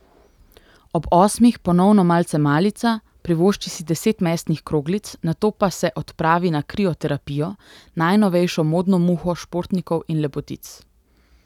Ob osmih ponovno malce malica, privošči si deset mesnih kroglic, nato pa se odpravi na krioterapijo, najnovejšo modno muho športnikov in lepotic.